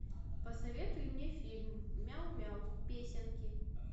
посоветуй мне фильм мяу мяу песенки